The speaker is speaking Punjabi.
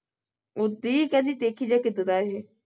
ਉਸਦੀ ਕਿਹਦੀ ਦੇਖੀ ਇਹ